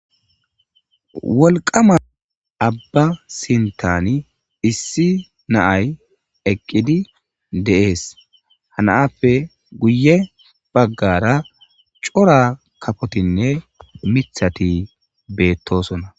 Wolqama abba sintani issi naay eqqidi deees hanaappe guye baggara cora kafotinne mithati beettosona